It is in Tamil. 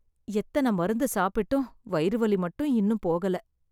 எத்தன மருந்து சாப்பிட்டும் வயிறு வலி மட்டும் இன்னும் போகல